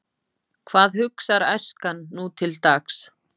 Hvað hugsar æskan nútildags?